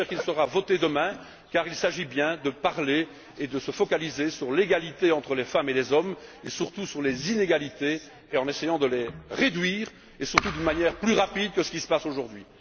J'espère qu'il sera voté demain, car il s'agit bien de parler et de se focaliser sur l'égalité entre les femmes et les hommes, et surtout sur les inégalités, en essayant de les réduire de manière plus rapide que c'est le cas aujourd'hui.